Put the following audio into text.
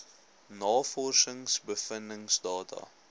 navorsings bevindings data